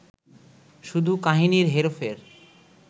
শুধু কাহিনির হেরফের